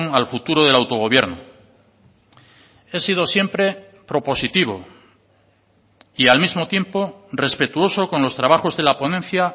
al futuro del autogobierno he sido siempre propositivo y al mismo tiempo respetuoso con los trabajos de la ponencia